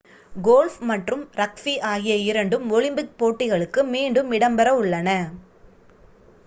golf மற்றும் rugby ஆகிய இரண்டும் ஒலிம்பிக் போட்டிகளுக்கு மீண்டும் இடம்பெறவுள்ளன